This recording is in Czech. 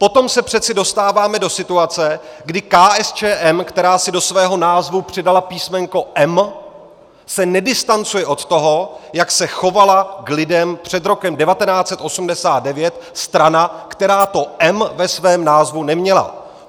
Potom se přeci dostáváme do situace, kdy KSČM, která si do svého názvu přidala písmenko "M" se nedistancuje od toho, jak se chovala k lidem před rokem 1989 strana, která to "M" ve svém názvu neměla.